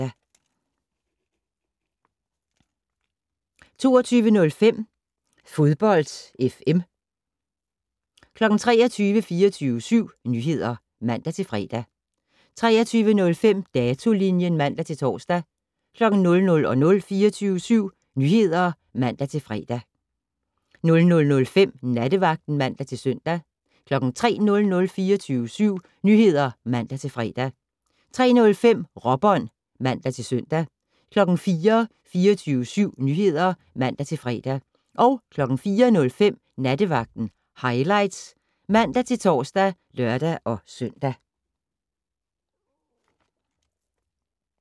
22:05: Fodbold FM 23:00: 24syv Nyheder (man-fre) 23:05: Datolinjen (man-tor) 00:00: 24syv Nyheder (man-fre) 00:05: Nattevagten (man-søn) 03:00: 24syv Nyheder (man-fre) 03:05: Råbånd (man-søn) 04:00: 24syv Nyheder (man-fre) 04:05: Nattevagten Highlights (man-tor og lør-søn)